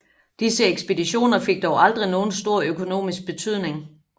Disse ekspeditioner fik dog aldrig nogen stor økonomisk betydning